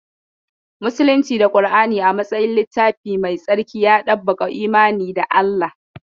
Musulunci da Kura'ni a matsayin littafi mai tsarki, ya ɗabbaƙa imani da Allah.